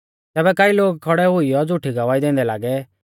तैबै कई लोग खौड़ै हुईयौ झ़ुठी गवाही दैंदै लागै कि